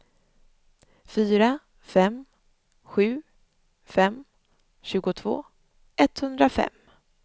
fyra fem sju fem tjugotvå etthundrafem